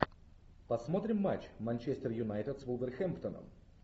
посмотрим матч манчестер юнайтед с вулверхэмптоном